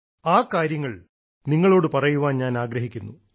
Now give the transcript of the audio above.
ആ കാര്യങ്ങൾ നിങ്ങളോട് പറയാൻ ഞാൻ ആഗ്രഹിക്കുന്നു